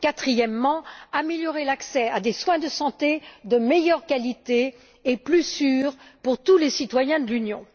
et améliorer l'accès à des soins de santé de meilleure qualité et plus sûrs pour tous les citoyens de l'Union.